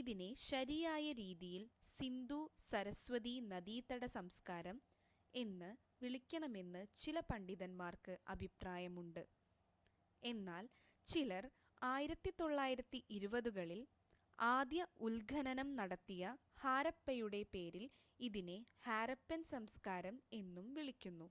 ഇതിനെ ശരിയായ രീതിയിൽ സിന്ധു സരസ്വതീ നദീതട സംസ്കാരം എന്ന് വിളിക്കണമെന്ന് ചില പണ്ഡിതന്മാർക്ക് അഭിപ്രായമുണ്ട് എന്നാൽ ചിലർ 1920 കളിൽ ആദ്യ ഉത്ഖനനംനടത്തിയ ഹാരപ്പയുടെ പേരിൽ ഇതിനെ ഹാരപ്പൻ സംസ്കാരം എന്നും വിളിക്കുന്നു